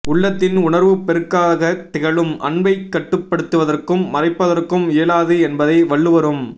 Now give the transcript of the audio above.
உள்ளத்தின் உணர்வுப் பெருக்காகத் திகழும் அன்பைக் கட்டுப்படுத்துவதற்கும் மறைப்பதற்கும் இயலாது என்பதை வள்ளுவரும்